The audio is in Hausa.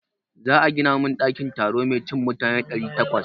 Za a gina min ɗakin taro mai cin mutane ɗari takwas.